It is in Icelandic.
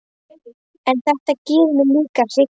En þetta gerir mig líka hrygga.